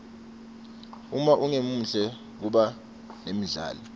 uma ungemuhle kuba nendlala